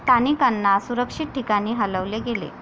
स्थानिकांना सुरक्षित ठिकाणी हलवले गेले.